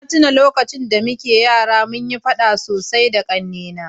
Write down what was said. na tuna lokacin da muke yara munyi faɗa sosai da ƙannena